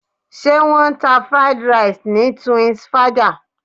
Ṣé wọ́n ń ta Fried Rice ni Twinsfaja?